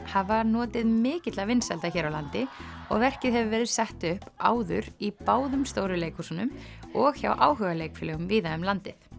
hafa notið mikilla vinsælda hér á landi og verkið hefur verið sett upp áður í báðum stóru leikhúsunum og hjá áhugaleikfélögum víða um landið